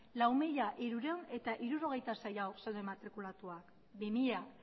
lau mila hirurehun eta hirurogeita sei haur zeuden matrikulatuak bi mila